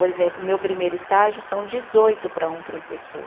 Por exemplo, o meu primeiro estágio são dezoito para um professor.